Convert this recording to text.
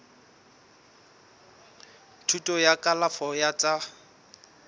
thuto ya kalafo ya tsa